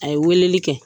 A ye weleli kɛ